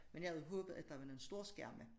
Men jeg havde håbet at der var nogen storskærme